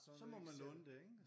Så må man låne det ikke?